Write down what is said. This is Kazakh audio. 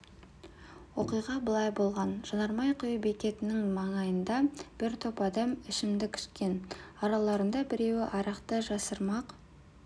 оқиға былай болған жанармай құю бекетінің маңайында бір топ адам ішімдік ішкен араларында біреуі арақты жасырмақ